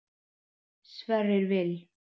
Sverrir Vil.